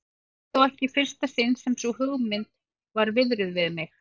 Það var þó ekki í fyrsta sinn sem sú hugmynd var viðruð við mig.